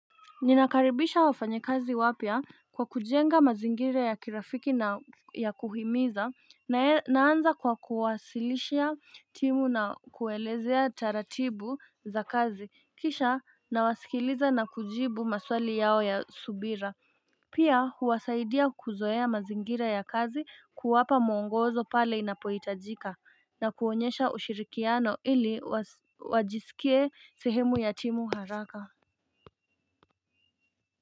Ninakaribisha wafanyakazi wapya kwa kujenga mazingira ya kirafiki na ya kuhimiza naanza kwa kuwasilishia timu na kuelezea taratibu za kazi kisha na wasikiliza na kujibu maswali yao ya subira Pia huwasaidia kuzoea mazingira ya kazi kuwapa mwongozo pale inapohitajika na kuonyesha ushirikiano ili wajisikie sehemu ya timu haraka.